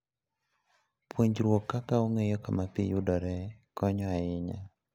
Puonjruok kaka ong'eyo kama pi yudore konyo ahinya.